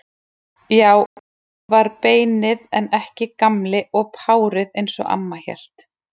Já, það var beinið en ekki Gamli og párið eins og amma hélt.